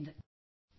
Jai Hind Jai Hind